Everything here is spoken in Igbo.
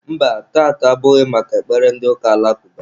Mba, taata abụghị maka ekpere ndị ụka alakụba.